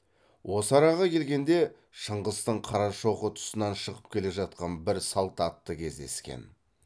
осы араға келгенде шыңғыстың қарашоқы тұсынан шығып келе жатқан бір салт атты кездескен